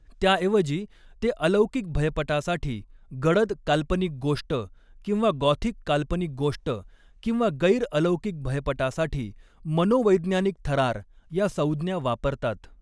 त्याऐवजी ते अलौकिक भयपटासाठी गडद काल्पनिक गोष्ट किंवा गॉथिक काल्पनिक गोष्ट किंवा गैर अलौकिक भयपटासाठी 'मनोवैज्ञानिक थरार' या संज्ञा वापरतात.